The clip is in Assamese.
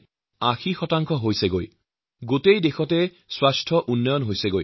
ফলস্বৰূপে বিগত চাৰি বছৰত স্বচ্ছতা অভিযান দুগুণ হৈ ৮০ শতাংশ কাম প্ৰায় সম্পন্ন হৈছে